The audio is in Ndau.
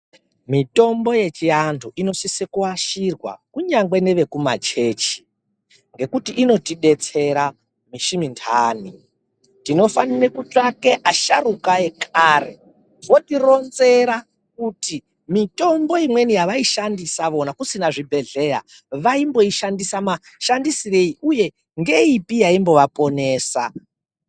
Mitombo yechiantu inosise kuashirwa kunyangwe nevekumachechi ngekuti inotidetsera misi minthani. Tinofanire kutsvake asharuka ekare votironzera kuti mitombo imweni yavaishandisa vona kusina zvibhedhlera vaimboishandisa mashandisirei uye ngeipi yaimbova ponesa.